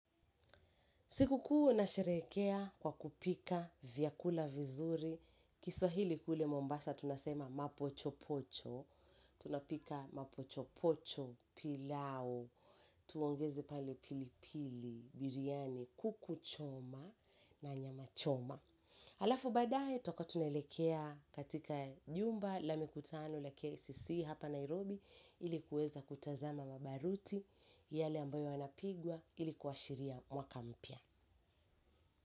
Sikukuu nasherehekea kwa kupika vyakula vizuri, kiswahili kule mombasa tunasema mapochopocho, tunapika mapochopocho pilau, tuongeze pale pili pili, biriani, kuku choma na nyama choma. Halafu baadaye tutakuwa tunaelekea katika jumba la mikutano la KICC hapa Nairobi ili kuweza kutazama mabaruti yale ambayo yanapigwa ili kuashiria mwaka mpya.